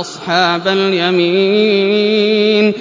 أَصْحَابَ الْيَمِينِ